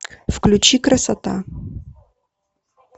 включи красота